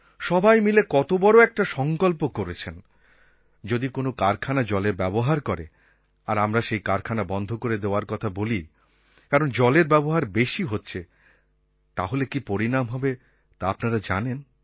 সবাই মিলে কত বড় একটা সংকল্প করেছেন যদি কোনও কারখানা জলের ব্যবহার করে আর আমরা সেই কারখানা বন্ধ করে দেওয়ার কথা বলি কারণ জলের ব্যবহার বেশি হচ্ছে তাহলে কি পরিণাম হবে তা আপনারা জানেন